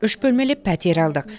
үш бөлмелі пәтер алдық